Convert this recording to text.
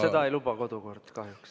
Seda ei luba kodukord, kahjuks.